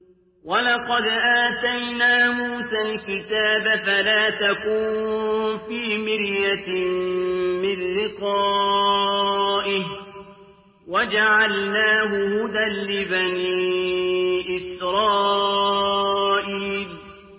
وَلَقَدْ آتَيْنَا مُوسَى الْكِتَابَ فَلَا تَكُن فِي مِرْيَةٍ مِّن لِّقَائِهِ ۖ وَجَعَلْنَاهُ هُدًى لِّبَنِي إِسْرَائِيلَ